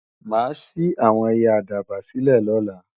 Mà á ṣí àwọn ẹyẹ àdàbà sílè lọ́la